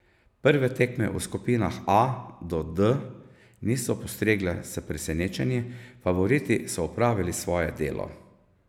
Prve tekme v skupinah A do D niso postregle s presenečenji, favoriti so opravili svoje delo.